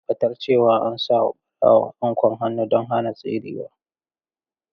Tabbatar cewa an sa wa barawon anƙwan hannu don hana tserewa.